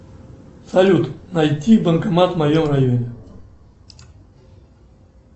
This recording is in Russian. салют найти банкомат в моем районе